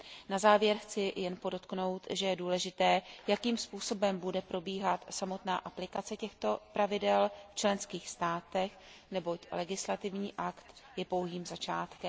Na závěr chci jen podotknout, že je důležité, jakým způsobem bude probíhat samotná aplikace těchto pravidel v členských státech, neboť legislativní akt je pouhým začátkem.